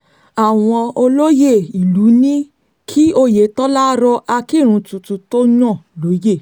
àwọn olóyè ìlú ní kí oyetola rọ akirun tuntun tó yàn lóye